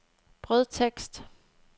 brødtekst